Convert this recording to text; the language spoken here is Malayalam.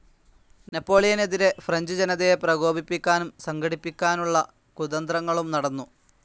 നെപോളിയനെതിരെ ഫ്രഞ്ച്‌ ജനതയെ പ്രകോപിപ്പിക്കാനും സംഘടിപ്പിക്കാനുള്ള കുതന്ത്രങ്ങളും നടന്നു.